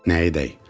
Nə edək?